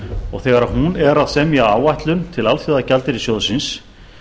og þegar hún er að semja áætlun til alþjóðagjaldeyrissjóðsins